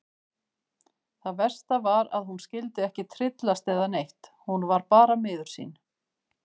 Það versta var að hún skyldi ekki tryllast eða neitt, hún var bara miður sín.